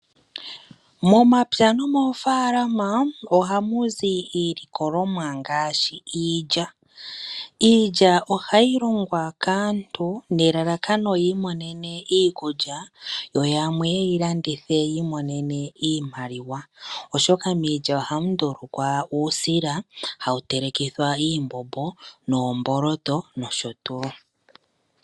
Momapya nomoofalama ohamu zi iilikolomwa ngaashi iilya. Iilya ohayi longwa kaantu nelalakano yiimonene iikulya yo yamwe yeyilandithe yiimonene iimaliwa oshoka miilya ohamu ndulukwa uusila hawu telekithwa iithima, oomboloto nosho tuu.